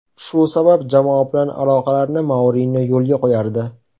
Shu sabab jamoa bilan aloqalarni Mourinyo yo‘lga qo‘yardi.